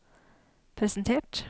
presentert